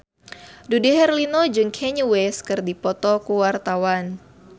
Dude Herlino jeung Kanye West keur dipoto ku wartawan